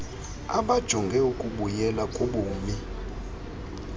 abajonge ukubuyela kubumi